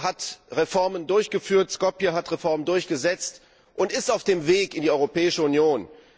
Skopje hat Reformen durchgesetzt und ist auf dem Weg in die Europäische Union.